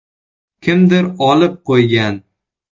Kimdir olib qo‘ygan.